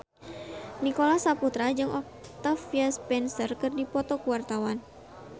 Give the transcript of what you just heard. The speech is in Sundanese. Nicholas Saputra jeung Octavia Spencer keur dipoto ku wartawan